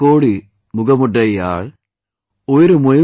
मुप्पदु कोडी मुगमुडैयाळ Mupppadu kODi mugam uDai yaaL